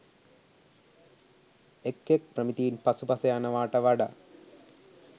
එක් එක් ප්‍රමිතීන් පසුපස යනවාට වඩා